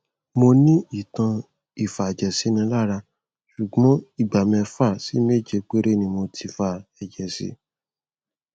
mo ní ìtàn ìfàjẹsínilára ṣùgbọn ìgbà mẹfà sí méje péré ni mo ti fa ẹjẹ sí